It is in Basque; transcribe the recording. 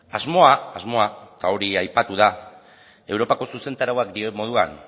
asmoa asmoa eta hori aipatu da europako zuzentarauak dioen moduan